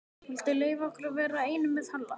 Viltu leyfa okkur að vera einum með Halla?